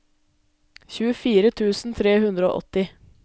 tjuefire tusen tre hundre og åtti